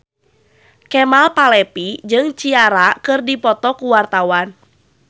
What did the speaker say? Kemal Palevi jeung Ciara keur dipoto ku wartawan